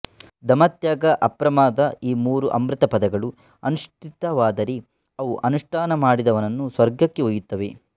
ದಮ ತ್ಯಾಗ ಅಪ್ರಮಾದ ಈ ಮೂರು ಅಮೃತಪದಗಳು ಅನುಷ್ಠಿತವಾದರೆ ಅವು ಅನುಷ್ಠಾನ ಮಾಡಿದವನನ್ನು ಸ್ವರ್ಗಕ್ಕೆ ಒಯ್ಯುತ್ತವೆ